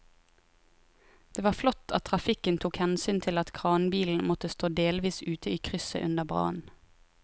Det var flott at trafikken tok hensyn til at kranbilen måtte stå delvis ute i krysset under brannen.